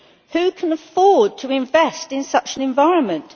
Who can afford to invest in such an environment?